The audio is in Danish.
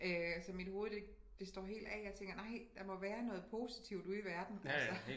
Så mit hovedet det det står helt af jeg tænker nej der må være noget positivt ude i verden altså